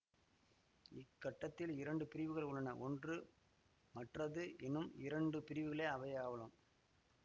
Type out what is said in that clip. இக்கட்டடத்தில் இரண்டு பிரிவுகள் உள்ளன ஒன்று மற்றது எனும் இரண்டு பிரிவுகளே அவையாகளும்